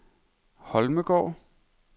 Holmegaard